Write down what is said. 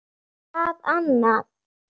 Hvað annað?